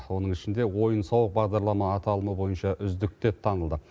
оның ішінде ойын сауық бағдарлама аталымы бойынша үздік деп танылды